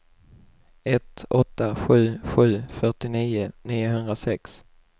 ett åtta sju sju fyrtionio niohundrasex